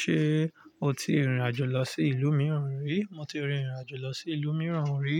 Ṣé o ti rìnrìn àjò lọ sí ìlú mìíràn rí? Mo ti rìnrìn àjò lọ sí ìlú mìíràn rí,